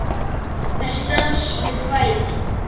Þessi dans við kvæði.